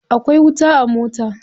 Akwai wuta a mota.